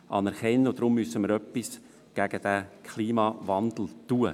Deshalb müssen wir etwas gegen den Klimawandel unternehmen.